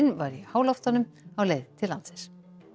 var í háloftunum á leið til landsins